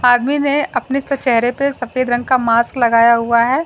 आदमी ने अपने इस पे चेहरे पे सफेद रंग का मास्क लगाया हुआ है।